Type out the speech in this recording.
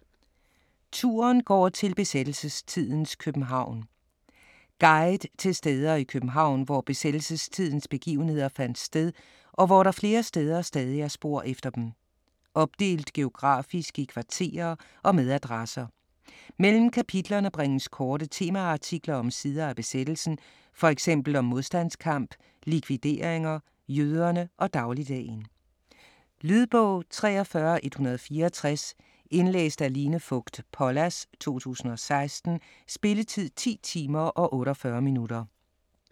Turen går til besættelsestidens København Guide til steder i København, hvor besættelsestidens begivenheder fandt sted, og hvor der flere steder stadig er spor efter dem. Opdelt geografisk i kvarterer og med adresser. Mellem kapitlerne bringes korte temaartikler om sider af besættelsen, fx om modstandskamp, likvideringer, jøderne og dagligdagen. Lydbog 43164 Indlæst af Line Fogt Pollas, 2016. Spilletid: 10 timer, 48 minutter.